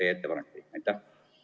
Aitäh!